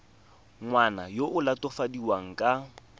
ngwana yo o latofadiwang ka